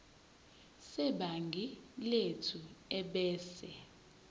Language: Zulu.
sebhangi lethu ebese